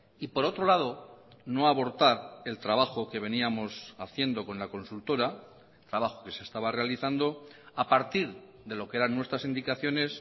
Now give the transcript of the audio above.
y por otro lado no abortar el trabajo que veníamos haciendo con la consultora trabajo que se estaba realizando a partir de lo que eran nuestras indicaciones